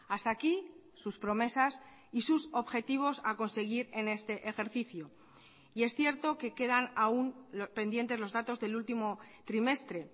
hasta aquí sus promesas y sus objetivos a conseguir en este ejercicio y es cierto que quedan aún pendientes los datos del último trimestre